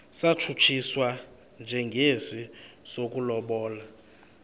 satshutshiswa njengesi sokulobola